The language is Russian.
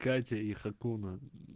катя и хакуна